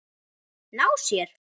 Ná sér?